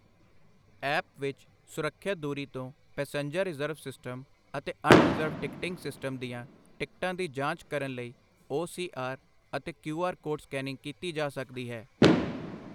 App ਵਿੱਚ ਸੁਰੱਖਿਅਤ ਦੂਰੀ ਤੋਂ ਪੇਸੈਂਜਰ ਰਿਜ਼ਰਵ ਸਿਸਟਮ ਅਤੇ ਅਣ ਰਿਜ਼ਰਵਡ ਟਿਕਟਿੰਗ ਸਿਸਟਮ ਦੀਆਂ ਟਿਕਟਾਂ ਦੀ ਜਾਂਚ ਕਰਨ ਲਈ ਓ ਸੀ ਆਰ ਅਤੇ ਕਿਉਂ ਆਰ ਕੋਡ ਸਕੈਨਿੰਗ ਕੀਤੀ ਜਾਂ ਸਕਦੀ ਹੈ।